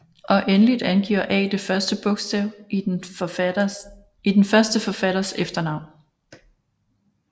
Og endeligt angiver A det første bogstav i den første forfatters efternavn